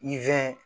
I fɛn